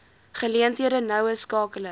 geleenthede noue skakeling